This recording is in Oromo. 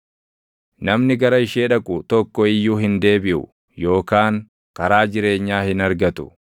Namni gara ishee dhaqu tokko iyyuu hin deebiʼu yookaan karaa jireenyaa hin argatu.